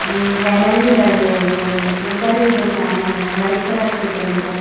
And banner भी लगे हुएं हैं उपर भी दुकानें हैं वाइट कलर से पेंट है।